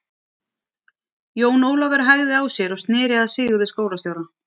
Jón Ólafur hægði á sér og sneri sér að Sigurði skólastjóra.